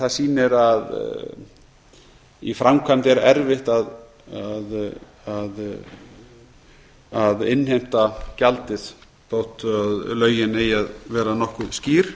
það sýnir að í framkvæmd er erfitt að innheimta gjaldið þótt lögin eigi að vera nokkuð skýr